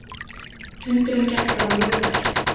Fundurinn gekk bara mjög vel